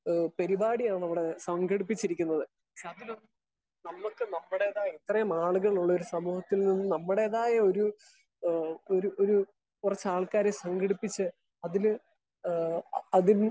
Speaker 1 പരിപാടിയാണ് അവിടെ സംഘടിപ്പിച്ചിരിക്കുന്നത്. അതിലൊന്നും നമുക്ക് നമ്മുടേതായ ഇത്രയും ആളുകളുള്ള ഒരു സമൂഹത്തിൽ നിന്ന് നമ്മുടേതായ ഒരു ഏഹ് ഒരു ഒരു കുറച്ചാൾക്കാരെ സംഘടിപ്പിച്ച് അതില് ഏഹ് അതില്